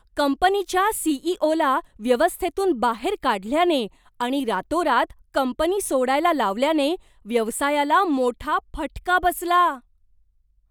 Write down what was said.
कंपनीच्या सी.ई.ओ.ला व्यवस्थेतून बाहेर काढल्याने आणि रातोरात कंपनी सोडायला लावल्याने व्यवसायाला मोठा फटका बसला.